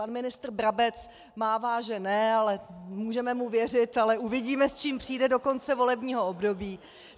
Pan ministr Brabec mává že ne, ale můžeme mu věřit, ale uvidíme, s čím přijde do konce volebního období.